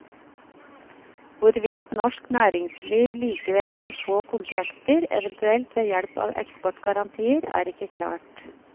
Hvorvidt norsk næringsliv likevel vil få kontrakter, eventuelt ved hjelp av eksportgarantier, er ikke klart.